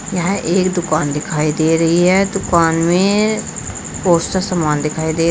यह एक दुकान दिखाई दे रही है दुकान में बहुत से समान दिखाई दे--